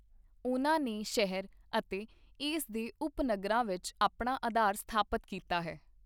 ਉਹਨਾਂ ਨੇ ਸ਼ਹਿਰ ਅਤੇ ਇਸ ਦੇ ਉਪਨਗਰਾਂ ਵਿੱਚ ਆਪਣਾ ਅਧਾਰ ਸਥਾਪਤ ਕੀਤਾ ਹੈ।